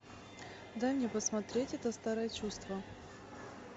дай мне посмотреть это старое чувство